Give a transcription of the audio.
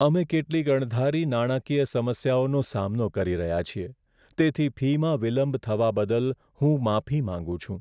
અમે કેટલીક અણધારી નાણાકીય સમસ્યાઓનો સામનો કરી રહ્યા છીએ, તેથી ફીમાં વિલંબ થવા બદલ હું માફી માંગું છું.